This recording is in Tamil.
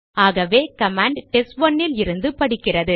ஆகவே கமாண்ட் டெஸ்ட்1 லிருந்து படிக்கிறது